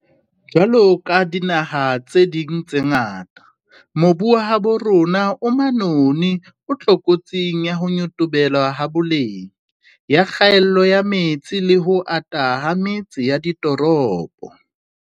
Jwaloka dinaha tse ding tse ngata, mobu wa habo rona o manoni o tlokotsing ya ho nyotobela ha boleng, ya kgaello ya metsi le ho ata ha metse ya ditoropo.